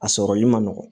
A sɔrɔli ma nɔgɔn